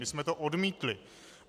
My jsme to odmítli.